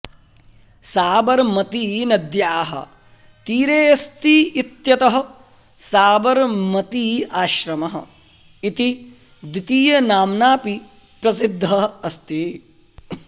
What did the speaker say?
साबरमतीनद्याः तीरेऽस्ति इत्यतः साबरमती आश्रमः इति द्वितीयनाम्नाऽपि प्रसिद्धः अस्ति